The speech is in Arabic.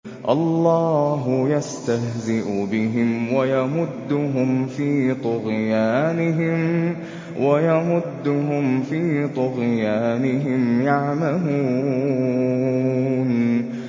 اللَّهُ يَسْتَهْزِئُ بِهِمْ وَيَمُدُّهُمْ فِي طُغْيَانِهِمْ يَعْمَهُونَ